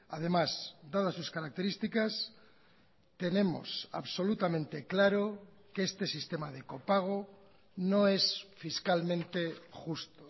además dadas sus características tenemos absolutamente claro que este sistema de copago no es fiscalmente justo